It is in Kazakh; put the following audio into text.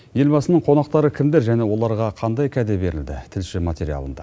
елбасының қонақтары кімдер және оларға қандай кәде берілді тілші материалында